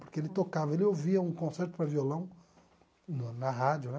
Porque ele tocava, ele ouvia um concerto para violão na rádio, né?